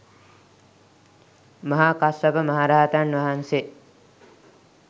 මහා කස්සප මහරහතන් වහන්සේ